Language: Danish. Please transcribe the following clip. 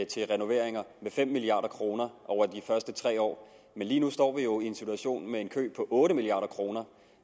til renoveringer med fem milliard kroner over de første tre år men lige nu står vi jo i en situation med en kø på otte milliard kroner